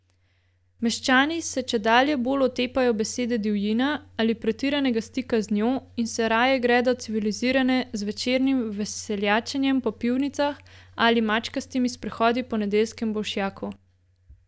Meščani se čedalje bolj otepajo besede divjina ali pretiranega stika z njo in se raje gredo civilizirance z večernim veseljačenjem po pivnicah ali mačkastimi sprehodi po nedeljskem bolšjaku.